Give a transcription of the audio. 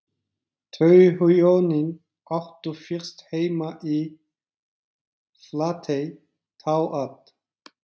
Þau hjónin áttu fyrst heima í Flatey, þá að